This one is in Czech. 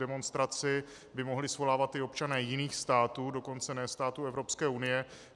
Demonstraci by mohli svolávat i občané jiných států, dokonce ne států Evropské unie.